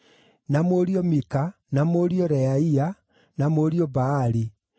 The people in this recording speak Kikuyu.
na mũriũ Mika, na mũriũ Reaia, na mũriũ Baali,